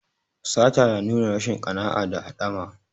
Sata na nuna rashin ƙana'a da haɗama.